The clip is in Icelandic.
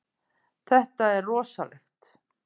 Þetta er rosalegt.